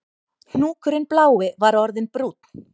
Hnúkurinn blái var orðinn brúnn